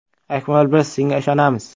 Akmal, biz senga ishonamiz!